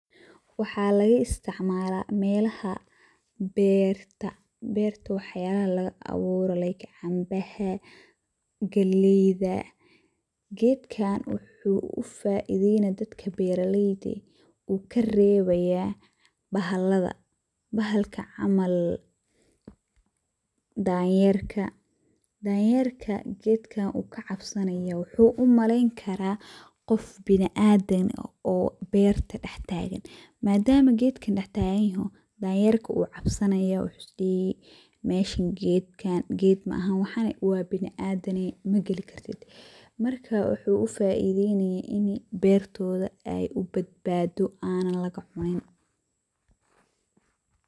Waxa laga isticmala melaha berta wax yalaha lagaaburo like cambaha, galeyda. Gedkan wuxu ufaideyni dadka beraleyda ah, uu karebaya bahalada, bahalka camal danyerka oo kacabsanayo gedkan wuxu umaleyni kara qof biniadam ah oo berta dhextagan madam gedkan uuu dhextaganyoho danterka wu cabsanaya wuxu isdihi meeshan ged maahan waxan wa biniadam magali kartid marka wuxu ufaideyni ini bertoda ey ubadbado anan lagacunin.